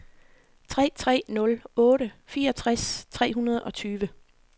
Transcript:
tre tre nul otte fireogtres tre hundrede og tyve